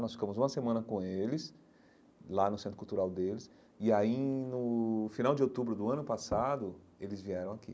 Nós ficamos uma semana com eles, lá no centro cultural deles, e aí, no final de outubro do ano passado, eles vieram aqui.